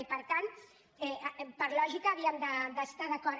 i per tant per lògica havíem d’estar d’acord